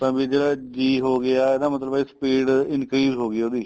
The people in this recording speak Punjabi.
ਤਾਂ ਬੀ ਜਿਹੜਾ G ਹੋ ਗਿਆ ਇਹਦਾ ਮਤਲਬ ਏ speed increase ਹੋ ਗਈ ਉਹਦੀ